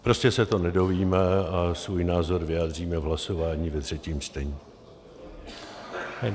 Prostě se to nedozvíme a svůj názor vyjádříme v hlasování ve třetím čtení.